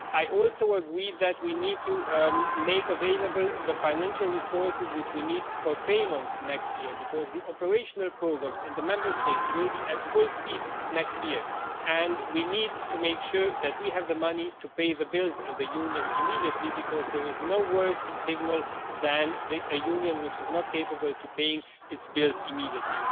I also agree that we need to make available the financial resources which we need for payments next year, because the operational programmes in the Member States will be at full speed next year, and we need to make sure that we have the money to pay the bills of the Union immediately, because there is no worse signal than a Union which is not capable of paying its bills immediately.